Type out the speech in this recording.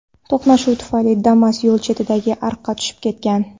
To‘qnashuv tufayli Damas yo‘l chetidagi ariqga tushib ketgan.